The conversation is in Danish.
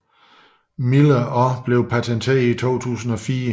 Miller og blev patenteret i 2004